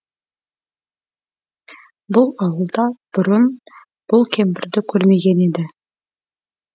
бұл ауылда бұрын бұл кемпірді көрмеген еді